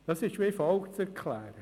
Das ist wie folgt zu erklären: